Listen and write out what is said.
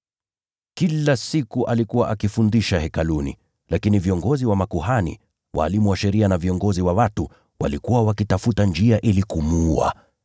Kila siku alikuwa akifundisha Hekaluni. Lakini viongozi wa makuhani, walimu wa sheria na viongozi wa watu walikuwa wakitafuta njia ili kumuua.